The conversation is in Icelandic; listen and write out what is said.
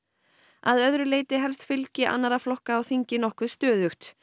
að öðru leyti helst fylgi annarra flokka á þingi nokkuð stöðugt